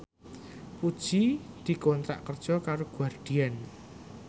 Puji dikontrak kerja karo Guardian